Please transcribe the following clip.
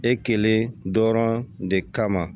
E kelen dɔrɔn de kama